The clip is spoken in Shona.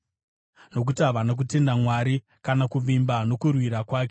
nokuti havana kutenda muna Mwari kana kuvimba nokurwira kwake.